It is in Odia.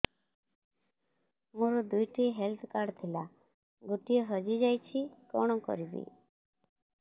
ମୋର ଦୁଇଟି ହେଲ୍ଥ କାର୍ଡ ଥିଲା ଗୋଟିଏ ହଜି ଯାଇଛି କଣ କରିବି